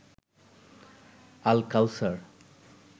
আল কাউসার